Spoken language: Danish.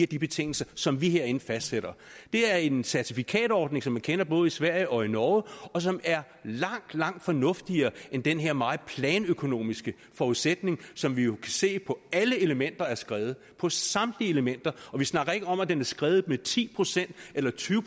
de betingelser som vi herinde fastsætter det er en certifikatordning som man kender både i sverige og i norge og som er langt langt fornuftigere end den her meget planøkonomiske forudsætning som vi jo kan se på alle elementer er skredet på samtlige elementer og vi snakker ikke om at den er skredet med ti procent eller tyve